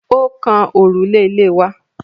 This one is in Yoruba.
Ó kan òrùlé ilé wa.